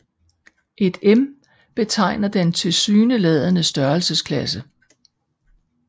Et m betegner den tilsyneladende størrelsesklasse